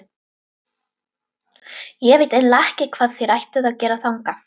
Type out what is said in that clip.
Ég veit eiginlega ekki hvað þér ættuð að gera þangað.